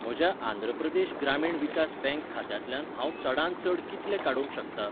म्हज्या आंध्र प्रदेश ग्रामीण विकास बँक खात्यांतल्यान हांव चडांत चड कितले काडूंक शकतां?